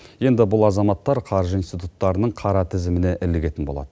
енбі бұл азаматтар қаржы институттарының қара тізіміне ілігетін болады